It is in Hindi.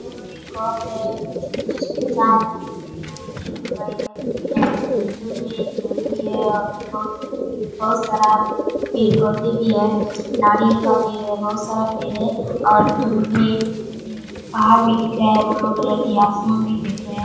यह एक कप है जिसमें चाय रखी हुई है ग्रीन और वाइट कलर की है दूर में एक घर भी है और बहुत बहुत सारा पेड़-पौधे भी है नारियल का पेड़ है बहुत सारा पेड़ है और दूर में उम पहाड़ भी दिख रहा है ब्‍लू कलर की आसमान भी दिख रहें हैं।